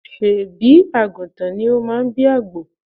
Ṣé̀bí àgùntàn ni ó máa bí àgbò?